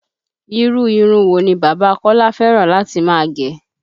Irú irun wo ni bàbá Kọ́lá fẹ́ràn láti máa gẹ?